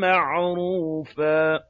مَّعْرُوفًا